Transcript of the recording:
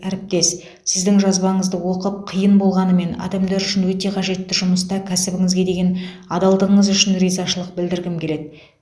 әріптес сіздің жазбаңызды оқып қиын болғанымен адамдар үшін өте қажетті жұмыста кәсібіңізге деген адалдығыңыз үшін ризашылық білдіргім келеді